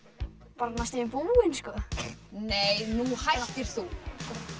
bara næstum því búin nei nú hættir þú